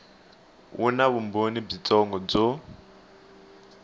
wu na vumbhoni byitsongo byo